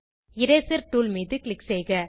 eraser tool மீது click செய்க